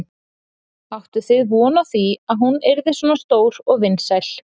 Áttuð þið von á því að hún yrði svona stór og vinsæl?